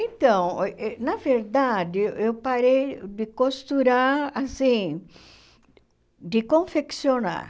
Então, na verdade, eu parei de costurar, assim, de confeccionar.